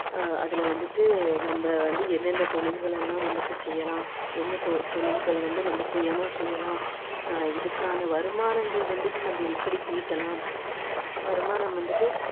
ஆஹ் அதுல வந்துட்டு நம்ம வந்து எந்தெந்த தொழில்கள் எல்லாம் வந்துட்டு செய்யலாம் என்ன தொ~ தொழில்கள் வந்துட்டு நம்ம சுயமா செய்யலாம் இதுக்கான வருமானங்கள் வந்துட்டு நம்ம எப்படி ஈட்டலாம் வருமானம் வந்துட்டு